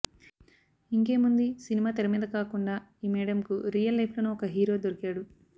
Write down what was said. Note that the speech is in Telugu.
ఇంకేముంది సినిమా తెరమీద కాకుండా ఈ మేడమ్ కు రియల్ లైఫ్ లోనూ ఒక హీరో దొరికాడు